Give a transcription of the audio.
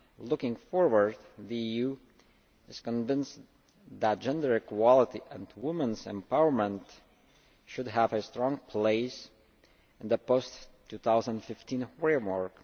Looking forward, the EU is convinced that gender equality and women's empowerment should have a strong place in the post 2015 framework.